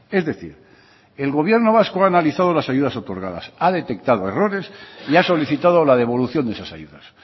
es decir el gobierno vasco ha analizado las ayudas otorgadas ha detectado errores y ha solicitado la devolución de esas ayudas